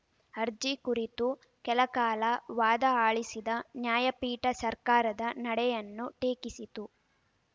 ಅರ್ಜಿ ಕುರಿತು ಕೆಲ ಕಾಲ ವಾದ ಆಲಿಸಿದ ನ್ಯಾಯಪೀಠ ಸರ್ಕಾರದ ನಡೆಯನ್ನು ಟೀಕಿಸಿತು